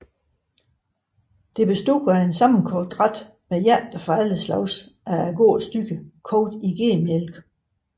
Det bestod af en sammenkogt ret med hjerter fra alle slags af gårdens dyr kogt i gedemælk